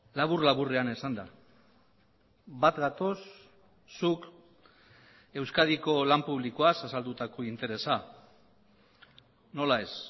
labur laburrean esanda bat gatoz zuk euskadiko lan publikoaz azaldutako interesa nola ez